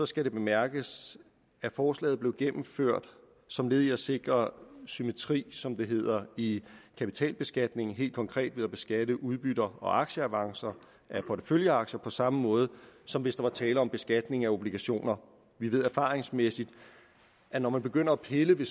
skal det bemærkes at forslaget blev gennemført som led i at sikre symmetri som det hedder i kapitalbeskatningen helt konkret ved at beskatte udbytter og aktieavancer af porteføljeaktier på samme måde som hvis der var tale om beskatning af obligationer vi ved erfaringsmæssigt at når man begynder at pille ved